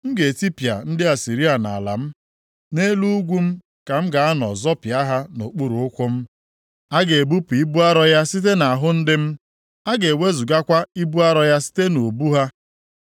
M ga-etipịa ndị Asịrịa nʼala m, nʼelu ugwu m ka m ga-anọ zọpịa ha nʼokpuru ụkwụ. A ga-ebupụ ibu arọ ya site nʼahụ ndị m, a ga-ewezugakwa ibu arọ ya site nʼubu ha.”